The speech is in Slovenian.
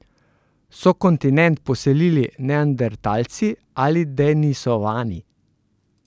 So kontinent poselili neandertalci ali denisovani?